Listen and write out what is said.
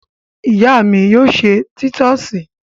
Ìyá mi yóò se títọ́sì.